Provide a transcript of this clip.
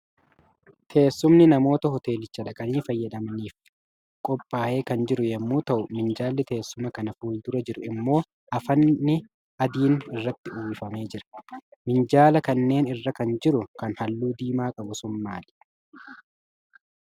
Teessumni namoota hoteelicha dhaqanii fayyadamaniif qophaacee kan jiru yommuu ta'u, minjaallli teessuma kana fuldura jiru immoo afatni abdiin irratti uwwifamee jira. Minjaala kanneen irra kan jiru, kan halluu diimaa qabu sun maali?